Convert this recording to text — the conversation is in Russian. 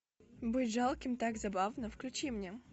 быть жалким так забавно включи мне